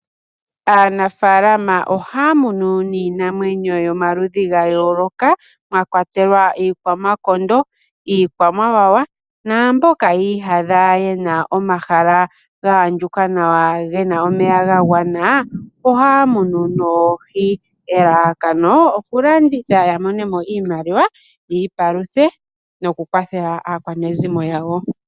Aanafaalama ohaya munu niinamwenyo yomaludhi gayooloka mwakwayelwa iikwamakondo, iikwamawawa naamboka yiiyadha yena omahala gaandjuka nawa gena omeya gagwana ohaya munu noohi. Elalakano okulanditha yamonemo iimaliwa yiipaluthe noku kwathela aakwanezimo yawo.